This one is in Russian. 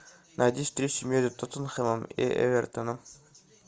найди встречу между тоттенхэмом и эвертоном